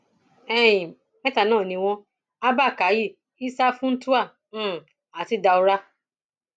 um mẹta náà ni wọn abba kàyí isa funtua um àti daura